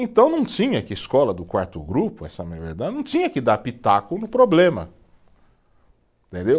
Então não tinha que escola do quarto grupo, essa, não tinha que dar pitaco no problema, entendeu